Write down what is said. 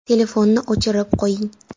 Telefonni o‘chirib qo‘ying.